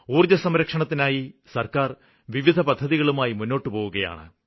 ഊര്ജ്ജസംരക്ഷണത്തിനായി സര്ക്കാര് വിവിധപദ്ധതികളുമായി മുന്നോട്ടുപോകുകയാണ്